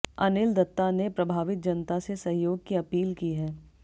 अनिल दत्ता ने प्रभावित जनता से सहयोग की अपील की है